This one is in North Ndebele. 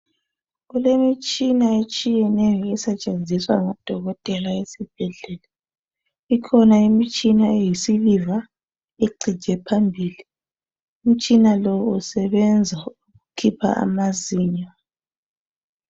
Kulemitshina etshiyeneyo esetshenzizwa ngodokotela esibhedlela ikhona imitshina eyi siliva ecije phambili umtshina lo usebenza ukukhipha amazinyo.